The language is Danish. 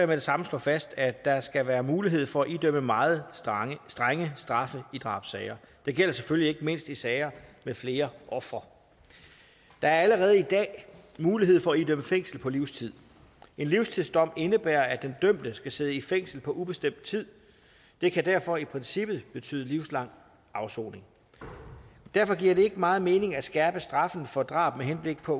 det samme slå fast at der skal være mulighed for at idømme meget strenge straffe i drabssager det gælder selvfølgelig ikke mindst i sager med flere ofre der er allerede i dag mulighed for at idømme fængsel på livstid en livstidsdom indebærer at den dømte skal sidde i fængsel på ubestemt tid det kan derfor i princippet betyde livslang afsoning derfor giver det ikke meget mening at skærpe straffen for drab med henblik på